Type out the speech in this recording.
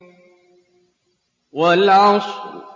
وَالْعَصْرِ